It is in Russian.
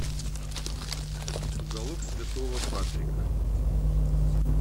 уголок святого патрика